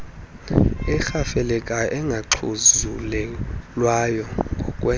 erhafelekayo engaxhuzulelwayo ngokwe